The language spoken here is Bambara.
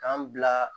K'an bila